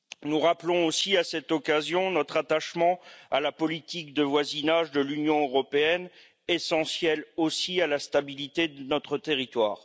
Nous rappelons également, à cette occasion, notre attachement à la politique de voisinage de l'Union européenne, essentielle aussi à la stabilité de notre territoire.